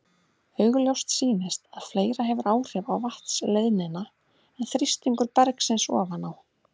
Augljóst sýnist að fleira hefur áhrif á vatnsleiðnina en þrýstingur bergsins ofan á.